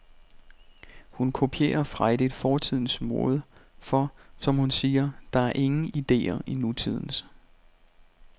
Hun kopierer frejdigt fortidens mode, for, som hun siger, der er ingen ideer i nutidens.